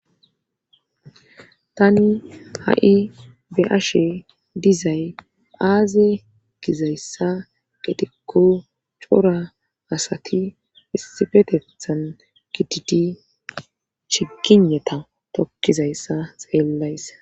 Tani ha7i be ashe dizay phaaze gizayssa getekko cora asati isifetethan gididi shigineta tokkizayssa xeellays.